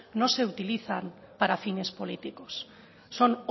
no se utilizan para fines políticos son